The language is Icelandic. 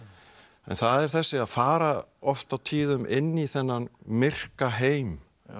en það er þessi að fara oft á tíðum inn í þennan myrka heim